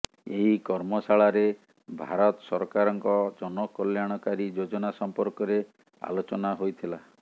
ଏହି କର୍ମଶାଳାରେ ଭାରତ ସରକାରଙ୍କ ଜନକଲ୍ୟାଣକାରୀ ଯୋଜନା ସମ୍ପର୍କରେ ଆଲୋଚନା ହୋଇଥିଲା